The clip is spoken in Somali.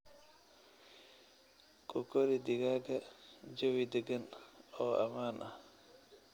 Ku kori digaagga jawi deggan oo ammaan ah.